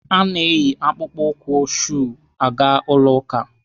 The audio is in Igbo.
A na-eyi akpụkpọ ụkwụ shuu aga ụlọ ụka.